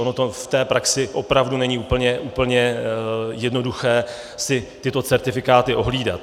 Ono v té praxi opravdu není úplně jednoduché si tyto certifikáty ohlídat.